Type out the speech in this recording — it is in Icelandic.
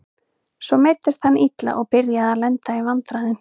Svo meiddist hann illa og byrjaði að lenda í vandræðum.